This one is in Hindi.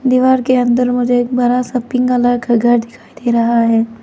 दीवार के अंदर मुझे एक बड़ा सा पिंक कलर का घर दिखाई दे रहा है।